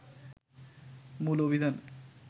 মূল অভিযানে